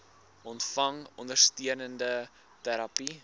ontvang ondersteunende terapie